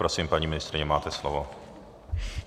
Prosím, paní ministryně, máte slovo.